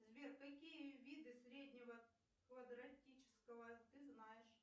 сбер какие виды среднего квадратического ты знаешь